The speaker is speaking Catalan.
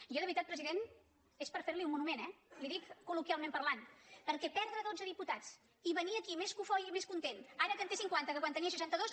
jo de veritat president és per fer li un monument eh i li ho dic col·loquialment parlant perquè perdre dotze diputats i venir aquí més cofoi i més content ara que en té cinquanta que quan en tenia seixanta dos